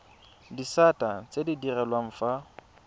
disata tse di direlwang fa